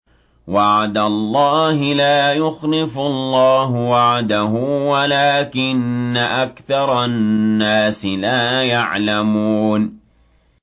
وَعْدَ اللَّهِ ۖ لَا يُخْلِفُ اللَّهُ وَعْدَهُ وَلَٰكِنَّ أَكْثَرَ النَّاسِ لَا يَعْلَمُونَ